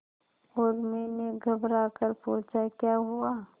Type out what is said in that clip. उर्मी ने घबराकर पूछा क्या हुआ